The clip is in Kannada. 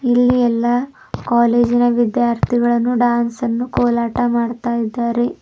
ಇಲ್ಲಿ ಎಲ್ಲಾ ಕಾಲೇಜಿನ ವಿದ್ಯಾಥಿಗಳನ್ನು ಡ್ಯಾನ್ಸ್ ಅನ್ನು ಕೋಲಾಟ ಮಾಡ್ತಾಯಿದ್ದಾರೆ.